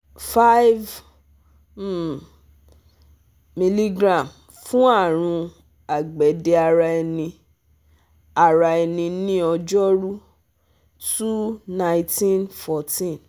five um mg fún àrùn àgbẹ̀dẹ ara ẹni ara ẹni ní ọjọ́rú two / nineteen / fourteen